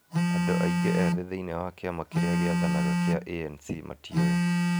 Andũ aingĩ ethĩ thĩinĩ wa kĩama kĩrĩa gĩathanaga gĩa ANC matiũĩ.